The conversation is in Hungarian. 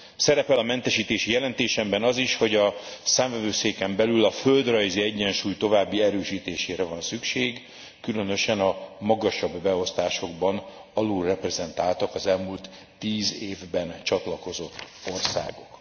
Szerepel a mentesítési jelentésemben az is, hogy a Számvevőszéken belül a földrajzi egyensúly további erősítésére van szükség, különösen a magasabb beosztásokban alulreprezentáltak az elmúlt tíz évben csatlakozott országok.